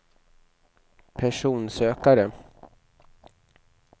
personsökare